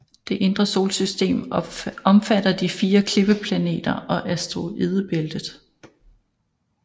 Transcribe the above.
Det indre solsystem omfatter de fire klippeplaneter og asteroidebæltet